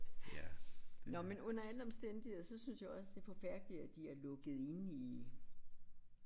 Nåh men under alle omstændigheder så synes jeg også det forfærdeligt at de er lukket inde i